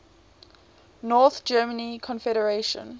north german confederation